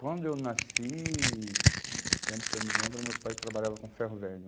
Quando eu nasci, do tempo que eu me lembro, meu pai trabalhava com ferro velho.